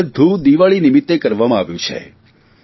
અને આ બધું દિવાળી નિમિત્તે કરવામાં આવ્યું છે